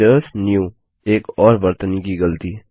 visitors new एक और वर्तनी की ग़लती